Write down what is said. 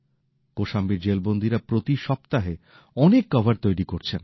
কোশাম্বীর জেলবন্দীরা প্রতি সপ্তাহে অনেক কভার তৈরি করছেন